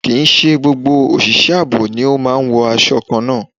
Kí i ṣe gbogbo òṣìṣẹ́ ààbò ni ó máa ń wo aṣọ kan náà.